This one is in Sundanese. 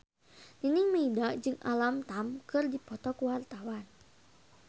Nining Meida jeung Alam Tam keur dipoto ku wartawan